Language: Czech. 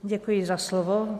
Děkuji za slovo.